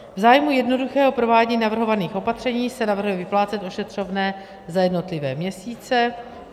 V zájmu jednoduchého provádění navrhovaných opatření se navrhuje vyplácet ošetřovné za jednotlivé měsíce.